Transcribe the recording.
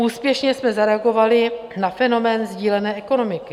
Úspěšně jsme zareagovali na fenomén sdílené ekonomiky.